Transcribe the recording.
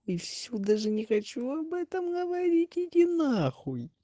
и все даже не хочу об этом говорить иди на хуй